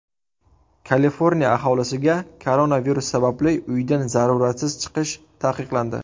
Kaliforniya aholisiga koronavirus sababli uydan zaruratsiz chiqish taqiqlandi.